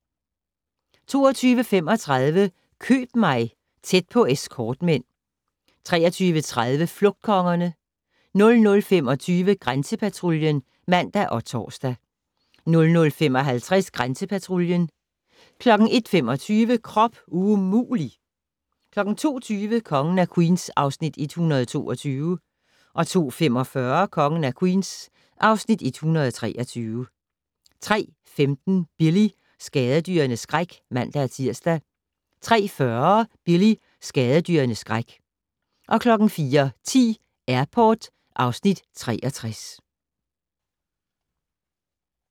22:35: Køb mig - tæt på escortmænd 23:30: Flugtkongerne 00:25: Grænsepatruljen (man og tor) 00:55: Grænsepatruljen 01:25: Krop umulig! 02:20: Kongen af Queens (Afs. 122) 02:45: Kongen af Queens (Afs. 123) 03:15: Billy - skadedyrenes skræk (man-tir) 03:40: Billy - skadedyrenes skræk 04:10: Airport (Afs. 63)